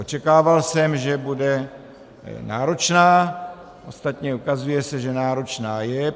Očekával jsem, že bude náročná, ostatně ukazuje se, že náročná je.